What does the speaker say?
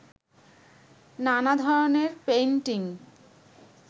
নানা ধরনের পেইন্টিং